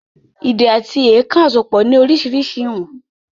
“Ìdè àti èèkàn àsopọ̀ ni orísirísi ìwọ̀n